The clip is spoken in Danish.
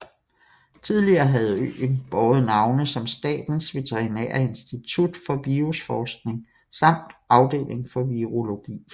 Tidligere har øen båret navne som Statens Veterinære Institut for Virusforskning samt Afdeling for Virologi